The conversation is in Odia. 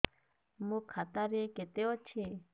ମୋ ଖାତା ରେ କେତେ ଅଛି